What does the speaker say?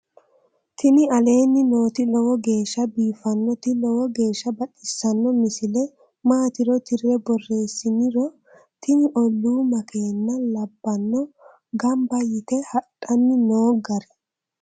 tini aleenni nooti lowo geeshsha biiffinnoti lowo geeshsha baxissanno misile maatiro tirre borreessiniro tini olu makeenna labbanno gamba yite hadhanni noo gari